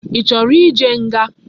Ichoro ije nga?